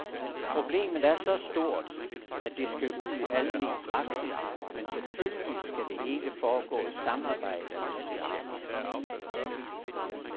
Problemet er så stort, at det skal ud i almen praksis, men selvfølgelig skal det hele foregå i samarbejde med specialister.